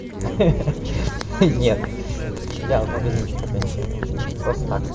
ха-ха нет я в магазинчик опять ходил просто так